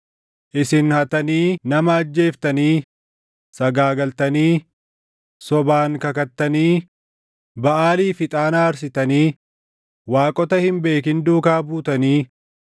“ ‘Isin hattanii nama ajjeeftanii, sagaagaltanii, sobaan kakattanii, Baʼaaliif ixaana aarsitanii, waaqota hin beekin duukaa buutanii,